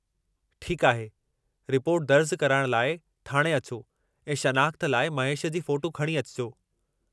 ठीकु आहे, रिपोर्ट दर्जु कराइण लाइ थाणे अचो ऐं शनाख़्त लाइ महेश जी फ़ोटू खणी अचिजो।